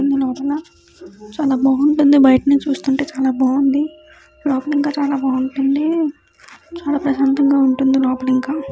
లోపల చాలా బాగుంటుంది.బయట నుంచి చూస్తుంటే చాలా బాగుంది. లోపల ఇంకా చాలా బాగుంటుంది. చాలా ప్రశాంతంగా ఉంటుంది. లోపల ఇంకా --